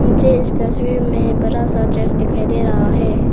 नीचे इस तस्वीर में एक बड़ा सा चर्च दिखाई दे रहा है।